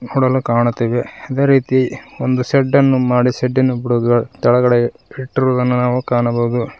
ನೋಡಲು ಕಾಣುತ್ತಿವೆ ಅದೇ ರೀತಿ ಒಂದು ಶೆಡ್ ಅನ್ನು ಮಾಡಿ ಶೆಡ್ಡಿನ ಬುಡಗ ತಳಗಡೆ ಇಟ್ಟಿರುವುದನ್ನು ನಾವು ಕಾಣಬಹುದು.